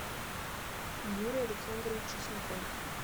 юрий александрович чесноков